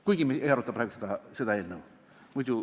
Kuigi me ei aruta praegu seda eelnõu.